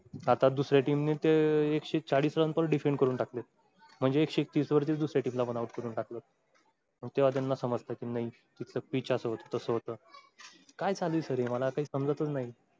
आता दुसऱ्या team ने एकशे चाळीस run पण defend करून टाकल्यात. म्हणजे एकशे तीस वरती दुसऱ्या team ला पण out करून टाकलात. मग तेंव्हा त्यांना समजतं कि नाई तिथं pitch असं होत तसं होत काय चालू आहे. sir मला काही समजतच नाही?